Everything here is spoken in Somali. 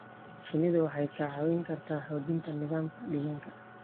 Shinnidu waxay kaa caawin kartaa xoojinta nidaamka deegaanka.